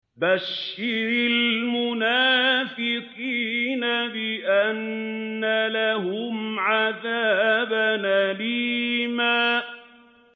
بَشِّرِ الْمُنَافِقِينَ بِأَنَّ لَهُمْ عَذَابًا أَلِيمًا